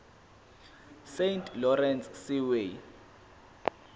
saint lawrence seaway